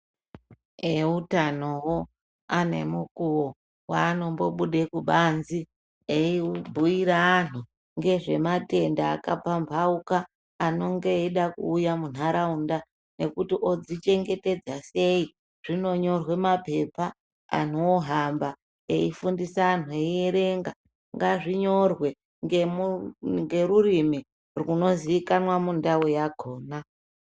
Eutanowo anemukuwo waanombobude kubanzi eibhuira anhu ngezvematenda akapambauka anonge eida kuuya munharaunda nekuti odzichengetedza sei. Zvinonyorwe mapepa, anhu ohamba eifundisa anhu eierenga. Ngazvinyorwe ngerurimi rwunoziikanwa mudau yakhona.